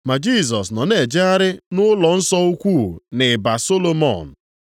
ma Jisọs nọ na-ejegharị nʼụlọnsọ ukwu, nʼịba + 10:23 Maọbụ, mgbe ụlọ Solomọn.